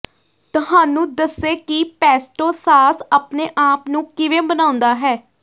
ਤੁਹਾਨੂੰ ਦੱਸੇ ਕਿ ਪੈਸਟੋ ਸਾਸ ਆਪਣੇ ਆਪ ਨੂੰ ਕਿਵੇਂ ਬਣਾਉਣਾ ਹੈ